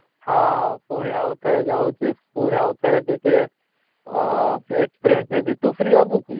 ହଁ, ପୁଣି ଆଉ ଠାରେ ଯାଉଛି ପୁଣି ଆଉ ଠାରେ ଟିକେ ଆଃ experience ହେବି ତୁ ଫରେଇ ହେବୁ କି?